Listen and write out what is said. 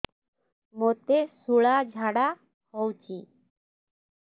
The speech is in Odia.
ମୋତେ ଶୂଳା ଝାଡ଼ା ହଉଚି